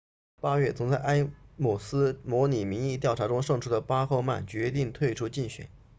八月曾在埃姆斯模拟民意调查中胜出的巴赫曼决定退出竞选